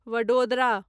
Vadodara